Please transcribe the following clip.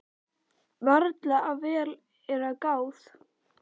ÞORVALDUR: Varla, ef vel er að gáð.